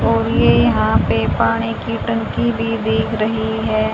और ये यहां पे पानी की टंकी भी दिख रही है।